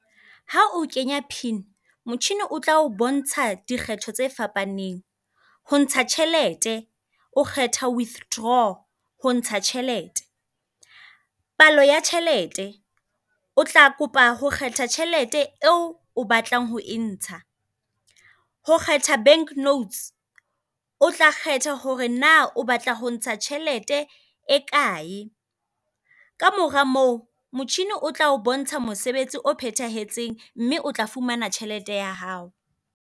Ha o kenya pin, motjhini o tla o bontsha dikgetho tse fapaneng. Ho ntsha tjhelete o kgetha withdraw, ho ntsha tjhelete. Palo ya tjhelete o tla kopa ho kgetha tjhelete eo o batlang ho e ntsha. Ho kgetha bank notes o tla kgetha hore naa o batla ho ntsha tjhelete e kae. Ka mora moo motjhini o tla o bontsha mosebetsi o phethahetseng mme o tla fumana tjhelete ya hao.